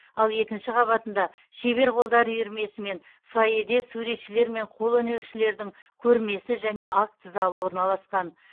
ал екінші қабатында шебер қолдар үйірмесімен фойеде суретшілер мен қолөнершілердің көрмесі және акт залы орналасқан